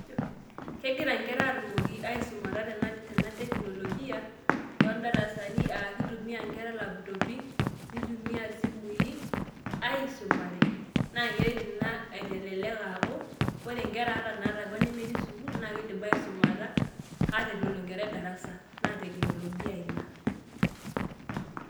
Kegira inkera atumoki asumata tena teknolojia ,toodarasani ah kitumia nkera laputopi, nitumia isimui, aisumare na keret ina aitelelek aaku, ore nkera ata naalakwa, nemetii sukuul na kidim ake aisumata, ata eitu elo enkerai darasa. Na teknolojia ina.